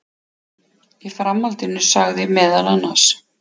Í framhaldinu sagði meðal annars